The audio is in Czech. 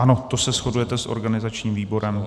Ano, to se shodujete s organizačním výborem.